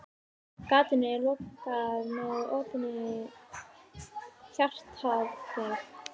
Gatinu er lokað með opinni hjartaaðgerð.